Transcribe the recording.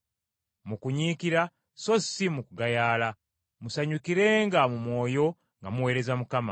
mu kunyiikira so si mu kugayaala. Musanyukirenga mu mwoyo nga muweereza Mukama,